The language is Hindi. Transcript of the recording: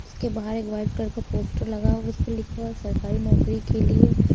उसके बाहर एक वाइट कलर का पोस्टर लगा हुआ उस पर लिखा हुआ है सरकारी नौकरी के लिए --